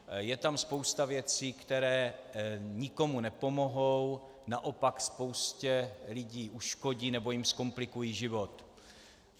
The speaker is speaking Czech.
Je tam spousta věcí, které nikomu nepomohou, naopak spoustě lidí uškodí nebo jim zkomplikují život.